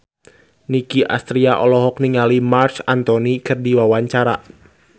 Nicky Astria olohok ningali Marc Anthony keur diwawancara